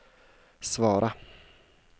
svara